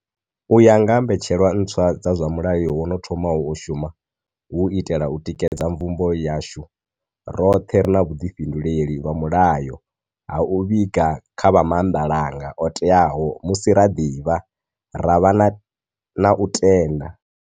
Uya nga ha mbetshelwa ntswa dza zwa mulayo wo no thomaho u shuma, hu u itela u tikedza mvumbo yashu, roṱhe ri na vhu ḓifhinduleli lwa mulayo ha u vhiga kha vha maanḓalanga oteaho musi ra ḓivha, ra vha na u tenda.